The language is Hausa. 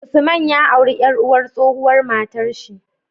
Usman ya auri yar uwar tsohuwar matar shi